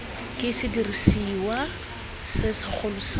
ke sediriswa se segolo sa